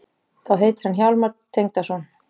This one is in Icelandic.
Þá heitir hann Hjálmar Tengdason.